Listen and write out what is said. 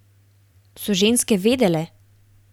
So ženske vedele?